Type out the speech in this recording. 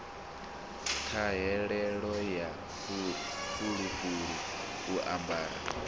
ṱhahelelo ya fulufulu u amara